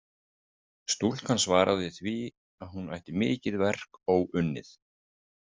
Stúlkan svaraði því að hún ætti mikið verk óunnið.